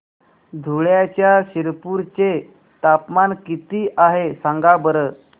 धुळ्याच्या शिरपूर चे तापमान किता आहे सांगा बरं